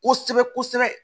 Kosɛbɛ kosɛbɛ